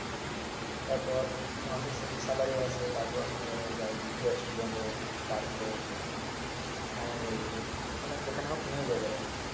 টার পর মাসে সেলারি আছে টার পর নিয়ে যাই রেস্টুরেন্ট হক পার্ক হক মামার বাড়ি হক মানে যেখানে হক নিয়ে যাই বেড়াতে